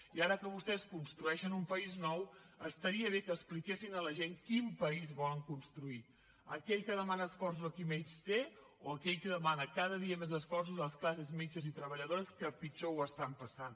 i ara que vostès construeixen un país nou estaria bé que expliquessin a la gent quin país volen construir aquell que demana esforços a qui més té o aquell que demana cada dia més esforços a les classes mitjanes i treballadores que pitjor ho estan passant